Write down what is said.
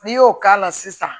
N'i y'o k'a la sisan